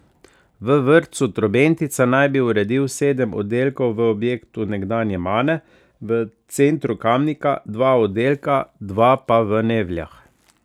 V vrtcu Trobentica naj bi uredil sedem oddelkov, v objektu nekdanje Mane v centru Kamnika dva oddelka, dva pa v Nevljah.